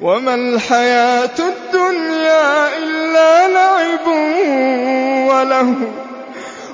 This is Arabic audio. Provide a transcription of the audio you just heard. وَمَا الْحَيَاةُ الدُّنْيَا إِلَّا لَعِبٌ وَلَهْوٌ ۖ